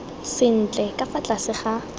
sentle ka fa tlase ga